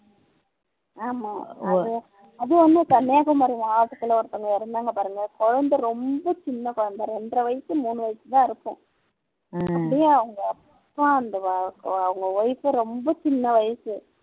ஆமா அது ஒன்னு கன்னியாகுமாரி மாவட்டத்துல ஒருத்தங்க இறந்தாங்க பாருங்க குழந்தை ரொம்ப சின்ன குழந்தை இரண்டரை வயசு மூணு வயசுதான் இருக்கும் அப்படியே அவங்க அப்பா அவங்க wife ரொம்ப சின்ன வயசு